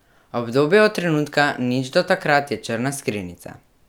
Obdobje od trenutka nič do takrat je črna skrinjica.